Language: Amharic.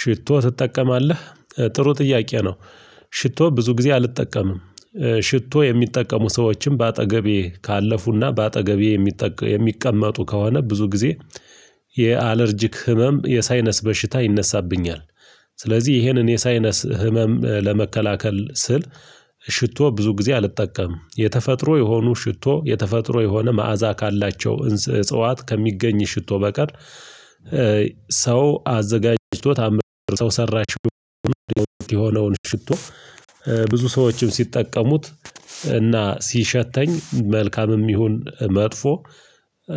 ሽቶ ትጠቀማለህ ጥሩ ጥያቄ ነው? ሽቶ ብዙ ጊዜ አልጠቀምም። ሽቶ የሚጠቀሙ ሰዎችን በአጠገቤ ካለፉና በአጠገቤ የሚጠ የሚቀመጡ ከሆነ ብዙ ጊዜ የአለርጂክ ህመም የሳይነስ በሽታ ይነሳብኛል። ስለዚህ ይህንን የሳይነስ ህመም ለመከላከል ስል ሽቶ ብዙ ጊዜ አልጠቀምም። የተፈጥሮ የሆኑ ሽቶ የተፈጥሮ የሆነ መዓዛ ካላቸው እንስ እጽዋት ከሚገኝ ሽቶ በቀር እ ሰው አዘጋጅቶ ታምር ሰው ሰራሽ የሆነውን ሽቶ። እ ብዙ ሰዎችም ሲጠቀሙት እና ሲሸተኝ መልካምም ይሁን መጥፎ